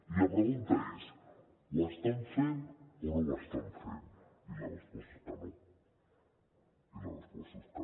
i la pregunta és ho estan fent o no ho estan fent i la resposta és que no i la resposta és que no